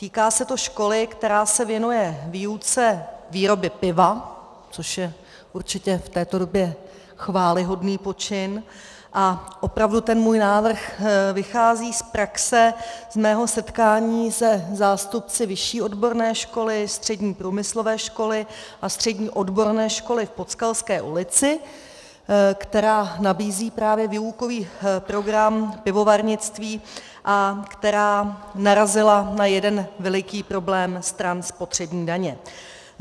Týká se to školy, která se věnuje výuce výroby piva, což je určitě v této době chvályhodný počin, a opravdu ten můj návrh vychází z praxe z mého setkání se zástupci Vyšší odborné školy, Střední průmyslové školy a Střední odborné školy v Podskalské ulici, která nabízí právě výukový program pivovarnictví a která narazila na jeden veliký problém stran spotřební daně.